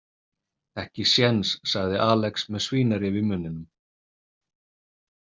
Ekki séns, sagði Alex með svínarif í munninum.